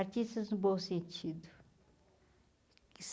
Artistas no bom sentido.